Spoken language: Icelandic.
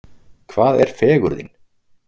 Hvað er fegurðin?